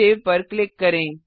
save पर click करें